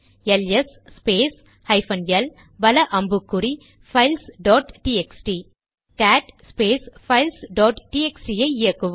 LS space hyphen L வல அம்புக்குறி files dot TXT cat space files dot TXT ஐ இயக்குவோம்